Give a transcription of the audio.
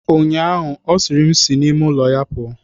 Echiche gara aga ọ sịrị, sị n'ime ụlọ m pụọ.